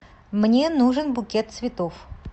мне нужен букет цветов